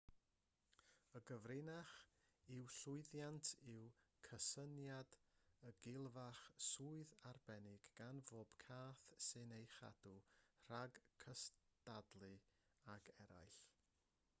y gyfrinach i'w llwyddiant yw cysyniad y gilfach swydd arbennig gan bob cath sy'n ei chadw rhag cystadlu ag eraill